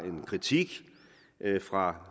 en kritik fra